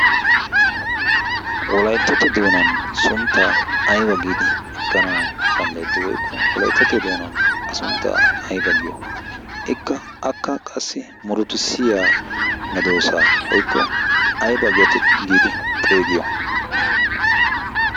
wolayttatto doonan sunttaa ayba giidi ekkanau danddayetti woykko wolayttatto doonan a sunttaa ayba giyo ikka akka qassi murotussiya medoosa woukko ayba gete giidi xeegiyo